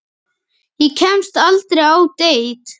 Ég kemst aldrei á deit.